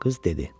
Qız dedi.